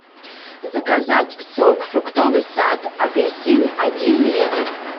заказать сок фруктовый сад апельсин один литр